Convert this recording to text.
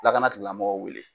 Lakana tigilamɔgɔw wele.